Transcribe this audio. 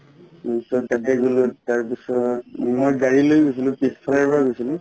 অ ত তাকেই গলো তাৰ পিছত মই গাড়ী লৈ গৈছিলো গৈছিলো